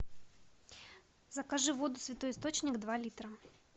закажи воду святой источник два литра